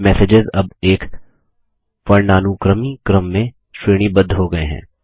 messages अब एक वर्णानुक्रमी क्रम में श्रेणीबद्ध हो गये हैं